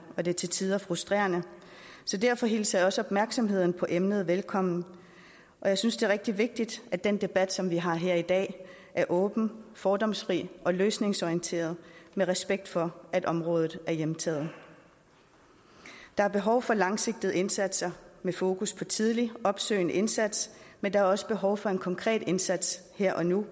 og det er til tider frustrerende så derfor hilser jeg også opmærksomheden på emnet velkommen jeg synes det er rigtig vigtigt at den debat som vi har her i dag er åben fordomsfri og løsningsorienteret med respekt for at området er hjemtaget der er behov for langsigtede indsatser med fokus på tidlig opsøgende indsats men der er også behov for en konkret indsats her og nu